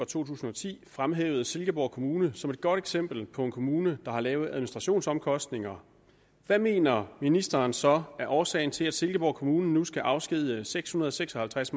to tusind og ti fremhævede silkeborg kommune som et godt eksempel på en kommune der har lave administrationsomkostninger hvad mener ministeren så er årsagen til at silkeborg kommune nu skal afskedige seks hundrede og seks og halvtreds